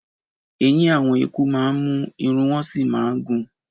Eyín àwọn eku máa ń mú, ìru wọn sì máa ń gùn